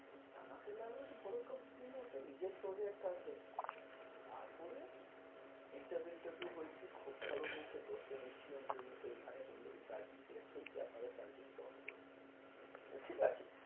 আমার কি লাগল, যে বড়ো company আছে নিজের project আছে। তারপরে interview, interview হয়েছে, খুব ভালো হয়েছে, দশজন এসছিল interview তে। এইখানে বলল কি চারজন select হয়েছে। আপনারা চারজন job করবেন। ঠিক আছে।